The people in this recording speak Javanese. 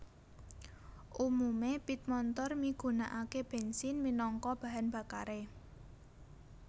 Umume pit montor migunakake bensin minangka bahan bakare